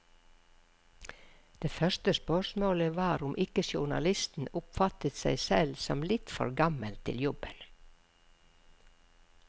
Det første spørsmålet var om ikke journalisten oppfattet seg selv som litt for gammel til jobben.